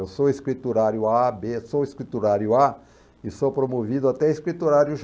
Eu sou escriturário á, bê, sou escriturário á e sou promovido até escriturário